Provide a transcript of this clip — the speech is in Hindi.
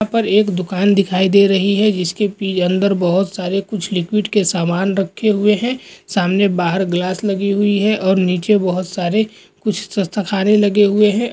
यहाँ पर एक दूकान दिखाइ दे रही है जिसके पि-अंदर बहोत सारे कुछ लिक्विड के समान रखें हुए हैं सामने बाहर ग्लास लगी हुई है और नीचे बहोत सारे कुछ लगे हुए हैं।